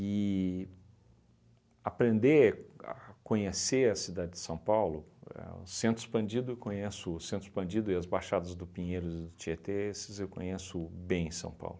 aprender a conhecer a cidade de São Paulo, a o Centro Expandido eu conheço, o Centro Expandido e as baixadas do Pinheiro e do Tietê, esses eu conheço bem São Paulo.